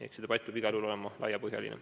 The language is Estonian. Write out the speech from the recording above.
See debatt peab igal juhul olema laiapõhjaline.